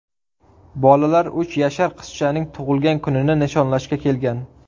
Bolalar uch yashar qizchaning tug‘ilgan kunini nishonlashga kelgan.